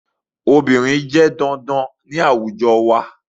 Obìnrin jẹ́ dandan ní àwùjọ wa